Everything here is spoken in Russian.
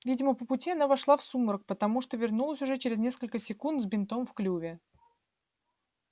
видимо по пути она вошла в сумрак потому что вернулась уже через несколько секунд с бинтом в клюве